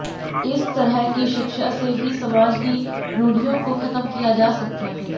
इस तरह की शिक्षा से ही समाज की रुढ़ियों को खत्म किया जा सकता है